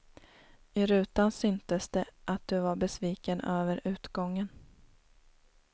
I rutan syntes det att du var besviken över utgången.